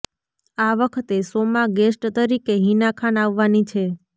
આ વખતે શોમાં ગેસ્ટ તરીકે હિના ખાન આવવાની છે